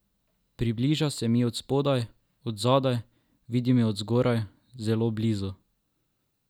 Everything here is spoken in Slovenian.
Približa se mi od spodaj, od zadaj, vidim jo od zgoraj, zelo blizu.